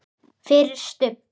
FYRIR STUBB!